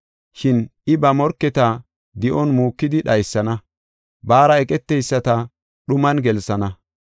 Shin I ba morketa di7on muukidi dhaysana; baara eqeteyisata dhuman gelsana.